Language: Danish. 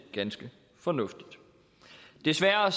ganske fornuftigt desværre